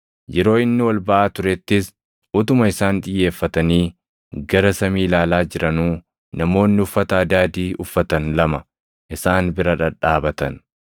Yeroo inni ol baʼaa turettis, utuma isaan xiyyeeffatanii gara Samii ilaalaa jiranuu namoonni uffata adaadii uffatan lama isaan bira dhadhaabatan.